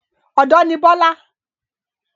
Ọ̀dọ́ ní Bọ́lá